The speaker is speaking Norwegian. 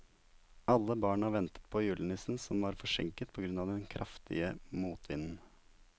Alle barna ventet på julenissen, som var forsinket på grunn av den kraftige motvinden.